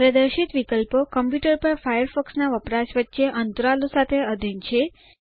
પ્રદર્શિત વિકલ્પો કમ્પ્યૂટર પર ફાયરફોક્સ ના વપરાશ વચ્ચે અંતરાલો સાથે અધીન છે